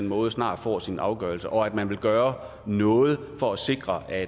måde snart får sin afgørelse og at man vil gøre noget for at sikre at